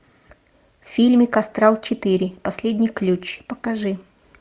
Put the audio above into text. фильмик астрал четыре последний ключ покажи